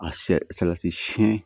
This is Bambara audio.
A sɛ salati siyɛn